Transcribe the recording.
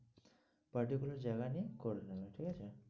particular জায়গা নিয়ে করে নেবে ঠিক আছে?